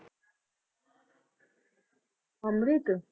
ਅੰਮ੍ਰਿਤ?